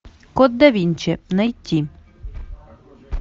код да винчи найти